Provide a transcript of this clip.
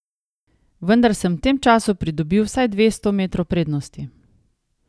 Vendar sem v tem času pridobil vsaj dvesto metrov prednosti.